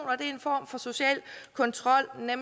en form for social kontrol som er